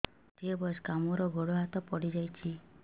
ମୁଁ ଷାଠିଏ ବୟସ୍କା ମୋର ଗୋଡ ହାତ ପଡିଯାଇଛି